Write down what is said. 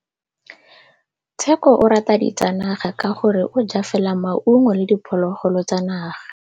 Tshekô o rata ditsanaga ka gore o ja fela maungo le diphologolo tsa naga.